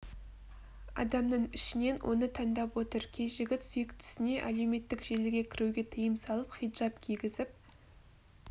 адамның ішінен оны таңдап отыр кей жігіт сүйіктісіне әлеуметтік желіге кіруге тыйым салып хиджаб кигізіп